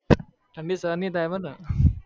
ઠંડી સહન નહિ થાય મને